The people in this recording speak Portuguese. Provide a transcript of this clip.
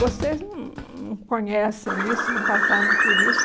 Vocês não não conhecem isso, não passaram por isso.